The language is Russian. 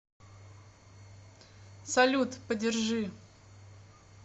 салют подержи